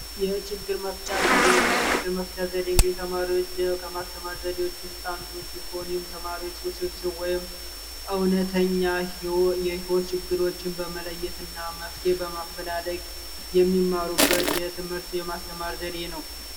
የችግር መፍቻ ዘዴ የችግር መፍቻ ዘዴ እንግዲህ ተማሪዎች ከማስተማር ዘዴዎች ውስጥ አንዱ ሲሆን ይህም ተማሪዎች ውስብስብ ወይም እውነተኛ የህይወት ችግሮችን በመለየት እና መፍትሄ በማፈላለግ የሚማሩበት የሆነ የማስተማር ዘዴ ነው።